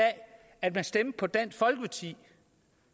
at man stemte på dansk folkeparti